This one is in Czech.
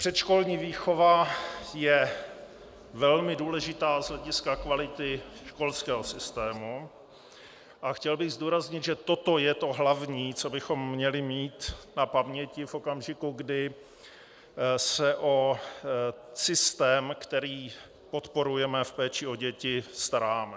Předškolní výchova je velmi důležitá z hlediska kvality školského systému a chtěl bych zdůraznit, že toto je to hlavní, co bychom měli mít na paměti v okamžiku, kdy se o systém, který podporujeme v péči o děti, staráme.